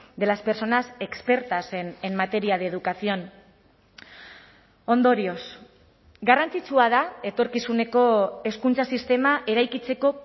de las personas expertas en materia de educación ondorioz garrantzitsua da etorkizuneko hezkuntza sistema eraikitzeko